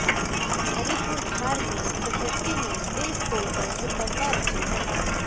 हरिपुरधार में प्रकृति ने दिल खोलकर सुन्दरता रची है